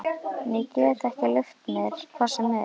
En ég get ekki leyft mér hvað sem er!